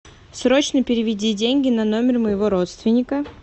срочно переведи деньги на номер моего родственника